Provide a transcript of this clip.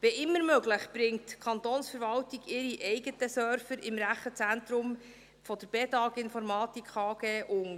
Wann immer möglich, bringt die Kantonsverwaltung ihre eigenen Server im Rechenzentrum der Bedag Informatik AG unter.